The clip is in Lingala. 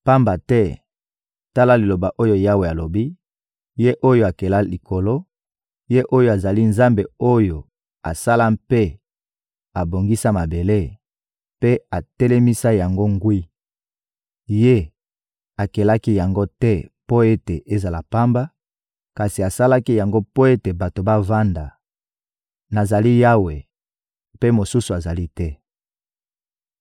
Pamba te, tala liloba oyo Yawe alobi, Ye oyo akela likolo, Ye oyo azali Nzambe oyo asala mpe abongisa mabele, mpe atelemisa yango ngwi; Ye akelaki yango te mpo ete ezala pamba, kasi asalaki yango mpo ete bato bavanda: «Nazali Yawe, mpe mosusu azali te.